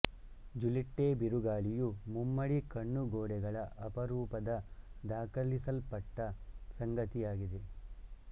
Juliette ಬಿರುಗಾಳಿಯು ಮುಮ್ಮಡಿ ಕಣ್ಣು ಗೋಡೆಗಳ ಅಪರೂಪದ ದಾಖಲಿಸಲ್ಪಟ್ಟ ಸಂಗತಿಯಾಗಿದೆ